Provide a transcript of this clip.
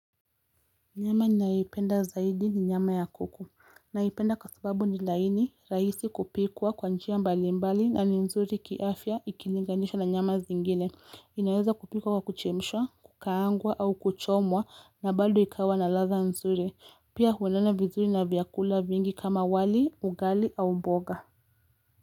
Nyama ninayoipenda zaidi ni nyama ya kuku, naipenda kwa sababu ni laini rahisi kupikwa kwa njia ya mbalimbali na ni nzuri kiafya ikilinganishwa na nyama zingine inaweza kupikwa kwa kuchemshwa, kukaangwa au kuchomwa na bado ikawa na ladha nzuri pia huendana vizuri na vyakula vingi kama wali, ugali au mboga.